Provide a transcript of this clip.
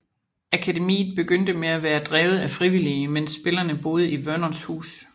Akademiet begyndte med at være drevet af frivillige imens at spillerne boede i Vernons hus